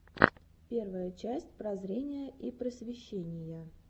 первая часть прозрения и просвещения